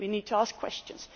We need to ask questions.